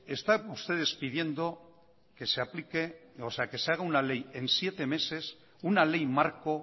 están ustedes pidiendo que se hagan una ley en siete meses una ley marco